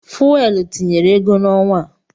Fuwel tinyere ego n'ọnwa a.